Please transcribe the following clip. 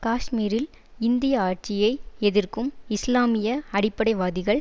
காஷ்மீரில் இந்திய ஆட்சியை எதிர்க்கும் இஸ்லாமிய அடிப்படைவாதிகள்